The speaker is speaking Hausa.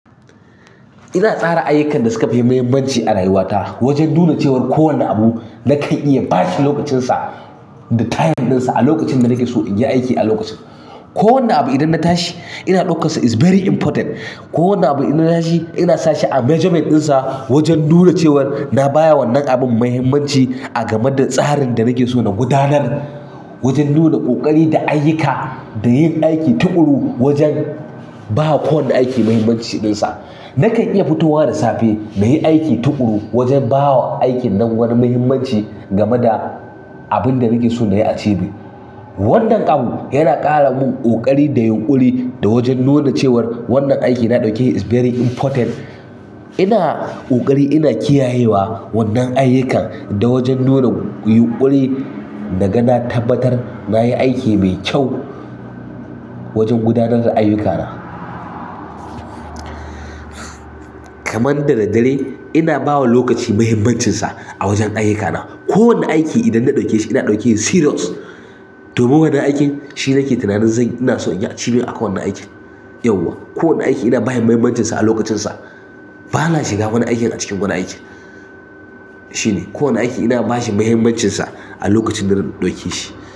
Ina tsara ayyukan da suka fi muhimmanci a rayuwata wajen nuna cewar kowane abu na kan iya bashi lokacinsa da time dinsa a lokacin da nake so in yi aiki a lokacin. Ko wane abu idan na tashi ina ɗaukansa is very important. Ko wanne abu idan na tashi ina sa shi a measurement dinsa wajen nuna cewar na baya wannan abun muhimmanci a game da tsarin da nake so na gudanar. Wajen nuna ƙoƙari da ayyuka da yin aiki tuƙuru wajen ba kowane aiki muhimmanci dinsa. Na kan iya fitowa da safe na yi aiki tuƙuru wajen ba wa aikin nan wani muhimmanci game da abin da nake so na yi a cibi. Wannan ƙam yana ƙara min ƙoƙari da yunƙuri da wajen nuna cewar wannan aiki na ɗauke shi is very important. Ina ƙoƙari ina kiyayewa wannan ayyukan da wajen nuna yunƙuri na ga na tabbatar na yi aiki mai kyau wajen gudanar da ayyukana. Kaman dadare ina ba wa lokaci muhimmancinsa a wajen ayyuka na. Ko wane aiki idan na ɗauke shi ina ɗauke shi serious. Domin wannan aikin shine nake tunanin zan ina so in yi achieving a kan wannan aikin. Yauwa, kowane aiki ina bashi muhimmancinsa a lokacinsa. Ba na shiga wani aiki a cikin wani aiki. Shine, kowane aiki ina ba shi muhimmancinsa a lokacin da na ɗauke shi.